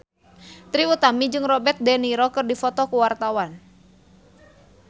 Trie Utami jeung Robert de Niro keur dipoto ku wartawan